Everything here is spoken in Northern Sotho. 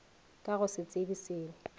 ka go se tsebe selo